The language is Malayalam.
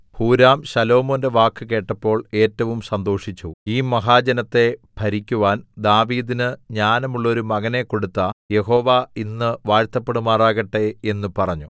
ഹൂരാം ശലോമോന്റെ വാക്ക് കേട്ടപ്പോൾ ഏറ്റവും സന്തോഷിച്ചു ഈ മഹാജനത്തെ ഭരിക്കുവാൻ ദാവീദിന് ജ്ഞാനമുള്ളോരു മകനെ കൊടുത്ത യഹോവ ഇന്ന് വാഴ്ത്തപ്പെടുമാറാകട്ടെ എന്ന് പറഞ്ഞു